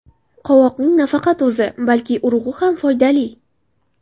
Qovoqning nafaqat o‘zi, balki urug‘i ham foydali.